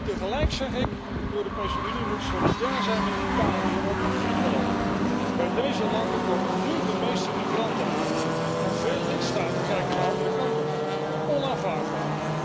Tegelijk zeg ik de Europese Unie moet solidair zijn met Italië en ook met Griekenland. Bij deze landen komen nu de meeste migranten aan en veel lidstaten kijken de andere kant op. Onaanvaardbaar!